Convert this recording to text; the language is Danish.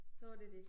Så var det det